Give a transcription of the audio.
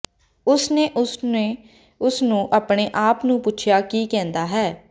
ਉਸ ਨੇ ਉਸ ਨੇ ਉਸ ਨੂੰ ਆਪਣੇ ਆਪ ਨੂੰ ਪੁੱਛਿਆ ਕਿ ਕਹਿੰਦਾ ਹੈ